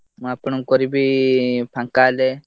ମୁଁ ଆପଣଙ୍କୁ କରିବି ଫାଙ୍କା ହେଲେ।